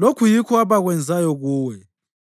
lokhu yikho abakwenzayo kuwe.